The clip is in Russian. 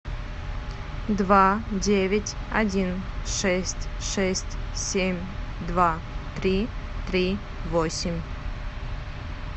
два девять один шесть шесть семь два три три восемь